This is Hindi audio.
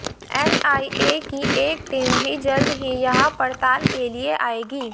एनआईए की एक टीम भी जल्द ही यहां पड़ताल के लिए आएगी